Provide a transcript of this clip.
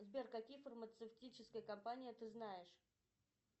сбер какие фармацевтические компании ты знаешь